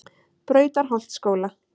Brautarholtsskóla